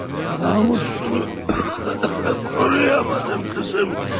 Namusunu koruyamadım kızım.